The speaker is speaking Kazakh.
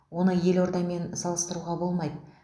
оны елордамен салыстыруға болмайды